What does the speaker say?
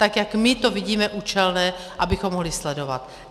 Tak jak my to vidíme účelné, abychom mohli sledovat.